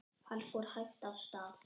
Hann fór hægt af stað.